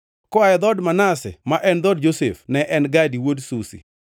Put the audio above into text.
koa e dhood Manase (ma en dhood Josef), ne en Gadi wuod Susi;